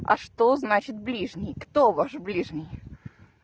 а что значит ближний кто ваш ближний